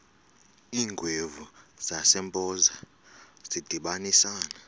iingwevu zasempoza zadibanisana